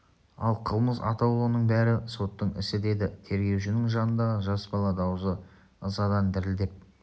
ал қылмыс атаулының бәрі соттың ісі деді тергеушінің жанындағы жас бала дауысы ызадан дірілдеп